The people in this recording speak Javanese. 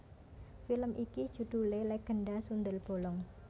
Film iki judhulé Legenda Sundel Bolong